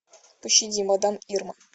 пощади мадам ирма